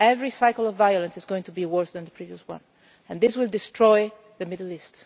this. Every cycle of violence is going to be worse than the previous one, and this will destroy the Middle